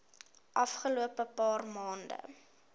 afgelope paar maande